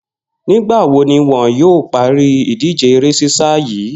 Nígbà wo ni wo̩n yóò parí ìdíje eré sísá yìí?